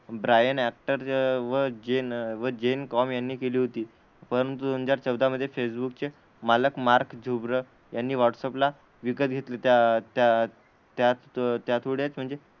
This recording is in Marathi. ब्रायन ॲक्टर व जेन व जेन कॉम यांनी केली होती. परंतु दोन हजार चौदा मध्ये फेसबुकचे मालक मार्क झुर यांनी व्हाट्सअप ला विकत घेतले, त्या त्या त्या त्याचमुळे म्हणजे,